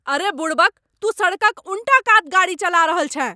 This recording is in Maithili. अरे बुड़बक। तू सड़कक उनटा कात गाड़ी चला रहल छेँ।